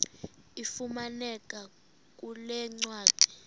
ifumaneka kule ncwadi